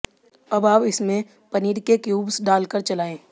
अब आप इसमें पनीर के क्यूब्स डाल कर चलाएं